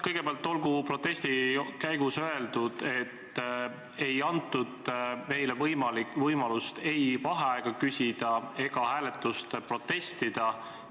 Kõigepealt olgu protesti käigus öeldud, et meile ei antud võimalust ei vaheaega küsida ega hääletuse vastu protestida.